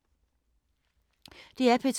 DR P2